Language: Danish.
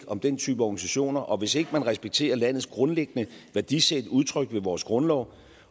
om den type organisationer og hvis ikke man respekterer landets grundlæggende værdisæt udtrykt ved vores grundlov